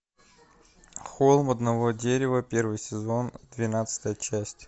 холм одного дерева первый сезон двенадцатая часть